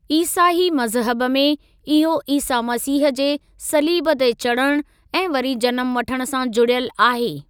ईसाई मज़हब में, इहो ईसा मसीह जे सलीब ते चढ़ण ऐं वरी जनमु वठण सां जुड़ियल आहे।